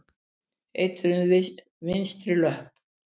Eitruð vinstri löpp.